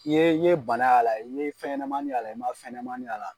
I ye i ye bana y'a la, i ye fɛnɲɛnɛmani y'a la, i ma fɛnɲɛnɛmani y'a la